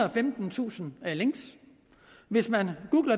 og femtentusind links hvis man